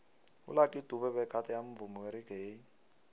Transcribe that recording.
ulucky dube begade amvumi weraggae